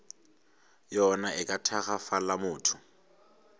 yona e ka tagafala motho